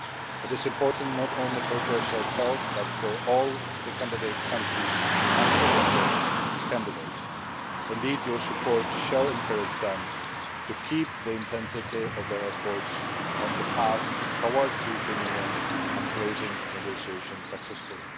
It is important not only for Croatia itself, but for all the candidate countries and potential candidates. Indeed, your support will encourage them to keep up the intensity of their efforts on the path towards the European Union and closing negotiations successfully.